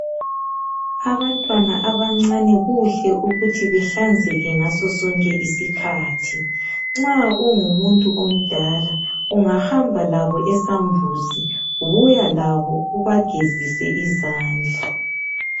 Abantwana abancane kuhle ukuthi bahlanzeke ngaso sonke isikhathi. Nxa ungumuntu omdala ungahamba labo esambuzi buya labo ubagezise izandla